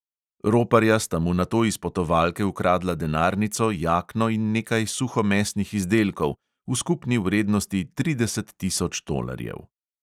Roparja sta mu nato iz potovalke ukradla denarnico, jakno in nekaj suhomesnih izdelkov v skupni vrednosti trideset tisoč tolarjev.